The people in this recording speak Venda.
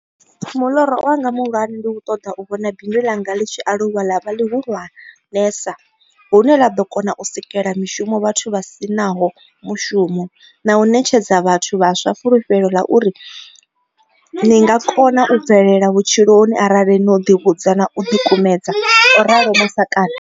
Muloro wanga muhulwane ndi u ṱoḓa u vhona bindu ḽanga ḽi tshi aluwa ḽa vha ḽihulwanesa hune ḽa ḓo kona u sikela mishumo vhathu vha si naho mushumo na u ṋetshedza vhathu vhaswa fulufhelo ḽa uri ni nga kona u bvelela vhutshiloni arali no ḓivhudza na u ḓikumedzela, o ralo Masakane.